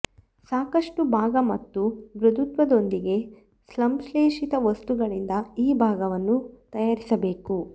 ಸಾಕಷ್ಟು ಭಾಗ ಮತ್ತು ಮೃದುತ್ವದೊಂದಿಗೆ ಸಂಶ್ಲೇಷಿತ ವಸ್ತುಗಳಿಂದ ಈ ಭಾಗವನ್ನು ತಯಾರಿಸಬೇಕು